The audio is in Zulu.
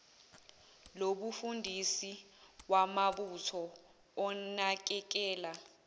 lobufundisi wamabutho onakekela